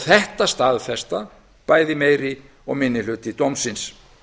þetta staðfesta bæði meiri og minni hluti dómsins